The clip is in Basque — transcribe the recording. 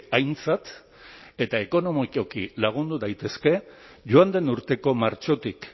aintzat eta ekonomikoki lagundu daitezke joan den urteko martxotik